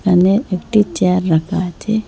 এনে একটি চেয়ার রাকা আচে।